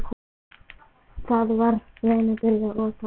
Þá var verið að byggja Breiðholtið.